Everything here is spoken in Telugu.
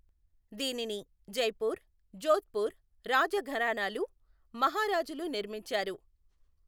దీనిని జైపూర్, జోధ్పూర్ రాజఘరానాలు, మహారాజులు నిర్మించారు.